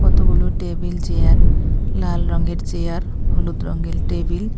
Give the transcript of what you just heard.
কতগুলো table chair লাল রঙের চেয়ার হলুদ রঙের টেবিল --